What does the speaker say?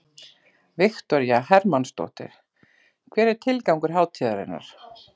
Viktoría Hermannsdóttir: Hver er tilgangur hátíðarinnar?